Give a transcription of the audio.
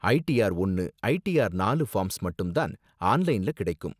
ITR ஒன்னு, ITR நாலு forms மட்டும் தான் ஆன்லைன்ல கிடைக்கும்.